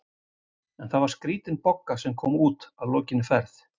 En það var skrítin Bogga sem kom út að lokinni ferð.